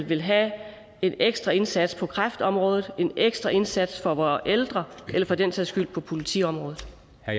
vil have en ekstra indsats på kræftområdet en ekstra indsats for vore ældre eller for den sags skyld på politiområdet